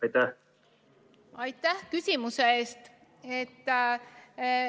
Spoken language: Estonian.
Aitäh küsimuse eest!